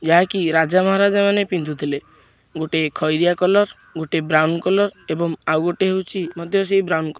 ୟାହା କି ରାଜା ମହାରାଜ ମାନେ ପିନ୍ଧୁଥିଲେ ଗୋଟେ ଖଇରିଆ କଲର୍ ଗୋଟେ ବ୍ରାଉନ କଲର୍ ଏବଂ ଆଉ ଗୋଟେ ହଉଚି ମଧ୍ୟ ସେଇ ବ୍ରାଉନ କ --